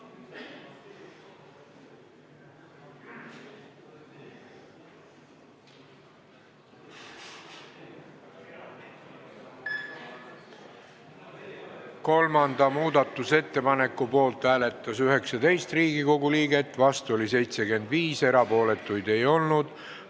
Hääletustulemused Kolmanda muudatusettepaneku poolt hääletas 19 ja vastu oli 75 Riigikogu liiget, erapooletuid ei olnud.